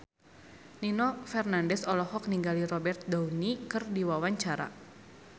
Nino Fernandez olohok ningali Robert Downey keur diwawancara